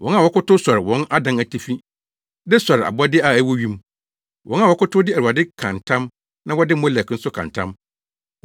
wɔn a wɔkotow sɔre wɔn adan atifi, de sɔre abɔde a ɛwɔ wim, wɔn a wɔkotow de Awurade ka ntam na wɔde Molek nso ka ntam,